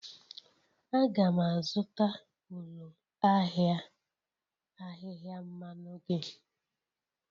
Aga'm azụta ụlọ ahịa ahịhịa mmanụ gị